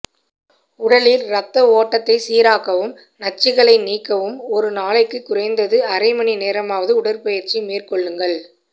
உடலில் ரத்த ஓட்டத்தை சீராக்கவும் நச்சுக்களை நீக்கவும் ஒரு நாளைக்கு குறைந்தது அரை மணி நேரமாவது உடற்பயிற்சி மேற்கொள்ளுங்கள்